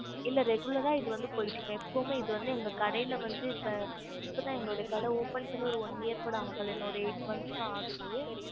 இல்ல இது எப்பயுமே போய்ட்டு இருக்கும் இது வந்து எப்பயுமே எங்களோட கடியால் வந்து இப்போது எங்க கடை வைத்து open பண்ணி one year ஆகுது